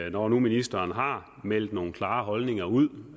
og når nu ministeren har meldt nogle klare holdninger ud